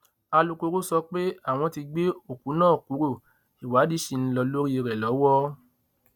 alūkkóró sọ pé àwọn tí gbé òkú náà kúrò ìwádìí ṣì ń lọ lórí rẹ lọwọ